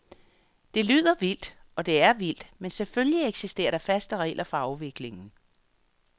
Det lyder vildt, og det er vildt, men selvfølgelig eksisterer der faste regler for afviklingen.